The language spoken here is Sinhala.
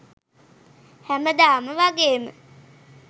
හැමදාම වගේම